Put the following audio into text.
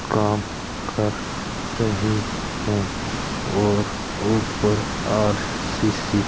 काम कर रहे हैं और ऊपर के आठ सी_सी --